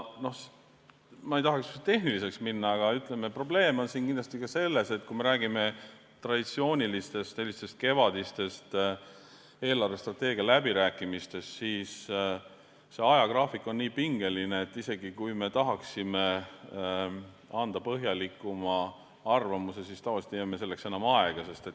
Ma ei tahaks tehniliseks minna, aga probleem on kindlasti ka selles, et kui me räägime traditsioonilistest kevadistest eelarvestrateegia läbirääkimistest, siis see ajagraafik on nii pingeline, et isegi kui me tahaksime anda põhjalikuma arvamuse, siis tavaliselt ei jää meil selleks aega.